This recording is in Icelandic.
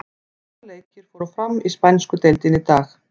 Átta leikir fóru fram í spænsku deildinni í dag.